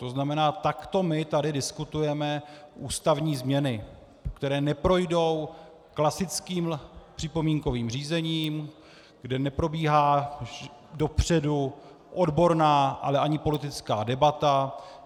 To znamená, takto my tady diskutujeme ústavní změny, které neprojdou klasickým připomínkovým řízením, kde neprobíhá dopředu odborná, ale ani politická debata.